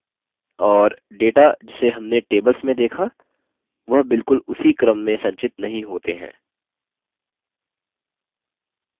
और data जिसे हमने tables में data वह बिलकुल उसी क्रम में संचित नहीं होते हैं